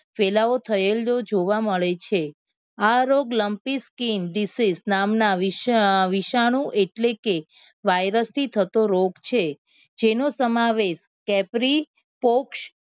ફેલાવો થયેલો જોવા મળે છે આ રોગ lampi skin disease વિશ વિષનું એટલે કે virus થી થતો રોગ છે જેનો સમાવેશ કેપ્રી પોક્ષ